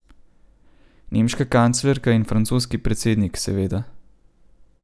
Nemška kanclerka in francoski predsednik, seveda.